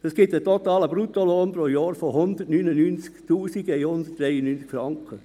Das ergibt einen totalen Bruttolohn pro Jahr von 199 193 Franken.